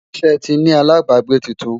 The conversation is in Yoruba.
ṣé tí ní alábágbé túntùn?